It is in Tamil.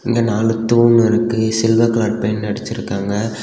இங்க நாலு தூண் இருக்கு சில்வர் கலர் பெயிண்ட் அடிச்சிருக்காங்க.